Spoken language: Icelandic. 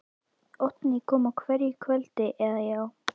Oddný kom á hverju kvöldi, eða, já.